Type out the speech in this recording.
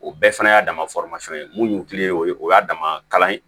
O bɛɛ fana y'a dama ye mun y'u kilen o ye o y'a dama kalan ye